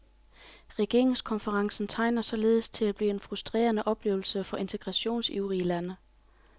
Regeringskonferencen tegner således til at blive en frustrerende oplevelse for integrationsivrige lande.